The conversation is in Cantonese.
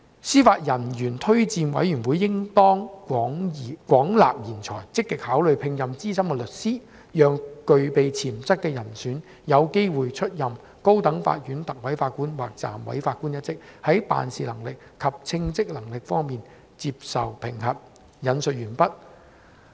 司法人員推薦委員會應當廣納賢才，積極考慮聘任資深律師，讓具備潛質的人選有機會出任高等法院特委法官或暫委法官一職，在辦事能力及稱職能力方面接受評核'。